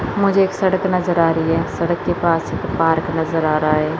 मुझे एक सड़क नजर आ रही है सड़क के पास पार्क एक नजर आ रहा है।